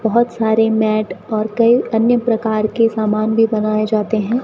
बहोत सारे मैट और कई अन्य प्रकार के सामान भी बनाए जाते हैं।